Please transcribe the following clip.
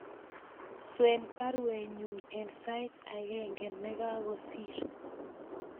Swen baruenyun en sait agenge nekagosir